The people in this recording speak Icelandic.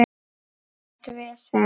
Ekkert vesen.